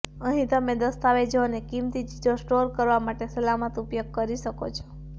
અહીં તમે દસ્તાવેજો અને કીમતી ચીજો સ્ટોર કરવા માટે સલામત ઉપયોગ કરી શકો છો